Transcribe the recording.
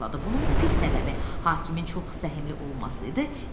Bunun bir səbəbi hakimin çox səhmli olması idi.